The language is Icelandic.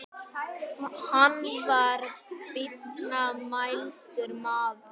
Hann var býsna mælskur maður.